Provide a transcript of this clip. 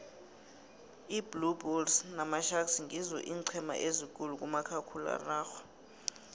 iblue bulles namasharks ngizo eencema ezikhulu kumakhkhulararhwe